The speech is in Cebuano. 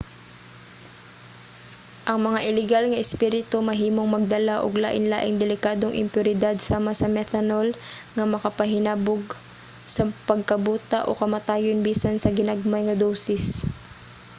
ang mga ilegal nga espirito mahimong magdala og lain-laing delikadong impuridad sama sa methanol nga makapahinabog sa pagkabuta o kamatayon bisan sa ginagmay nga dosis